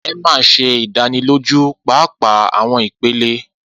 Emma ṣe idaniloju paapaa awọn ipele.